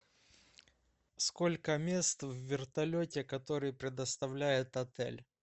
сколько мест в вертолете который предоставляет отель